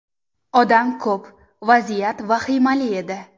Odam ko‘p, vaziyat vahimali edi.